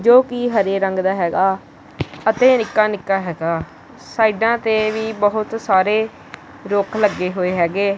ਜੋ ਕੀ ਹਰੇ ਰੰਗ ਦਾ ਹੈਗਾ ਅਤੇ ਨਿੱਕਾ ਨਿੱਕਾ ਹੈਗਾ ਸਾਈਡਾਂ ਤੇ ਵੀ ਬੋਹਤ ਸਾਰੇ ਰੁੱਖ ਲੱਗੇ ਹੋਏ ਹੈਗੇ।